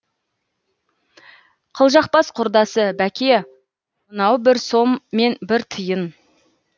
қылжақбас құрдасы бәке мынау бір сом мен бір тиын